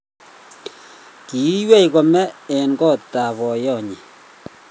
ki iywei kome eng kot ab boyonyi